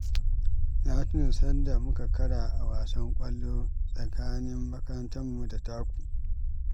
Na tuna sanda muka kara a wasan ƙwallon ƙafa tsakanin makarantarmu da taku